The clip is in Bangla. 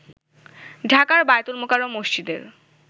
ঢাকার বায়তুল মোকাররম মসজিদের